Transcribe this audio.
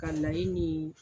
Ka layi ni.